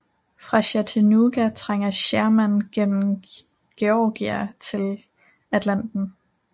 Fra Chattanooga trænger Sherman gennem Georgia til Atlanta